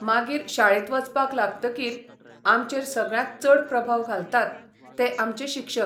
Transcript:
मागीर शाळेत वचपाक लागतकीर आमचेर सगळ्यांत चड प्रभाव घालतात ते आमचे शिक्षक.